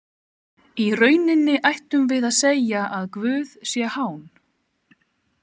Í rauninni ættum við að segja að Guð sé hán.